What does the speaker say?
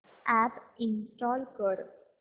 app install कर